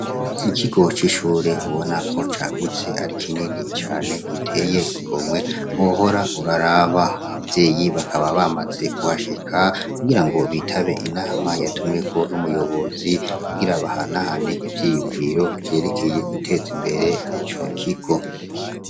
Ikigocishure ubona ko cagutse ari kinini cane giteye igomwe ohora uraraba abavyeyi bakaba bamaze kuhashika kugira ngo bitabe inama yatumweko n'umuyobozi ugira abahanahane ivyiyunviro vyerekeye guteza imbere ico kiko.